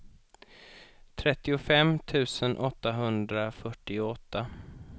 trettiofem tusen åttahundrafyrtioåtta